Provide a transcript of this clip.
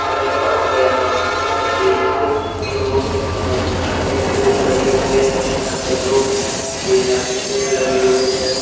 है और यहां पर एक दो बहुत सारे फूल लगे हुए हैं यहां पे दो केला के पेड़ लगे हुए हैं।